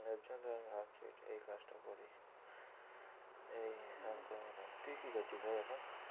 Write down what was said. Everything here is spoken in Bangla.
এর জন্য তো আমি ভাবছি এই কাজটা করি তুই কি করছিস ভাই এখন?